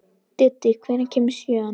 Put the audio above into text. Diddi, hvenær kemur sjöan?